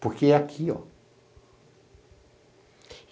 Porque é aqui.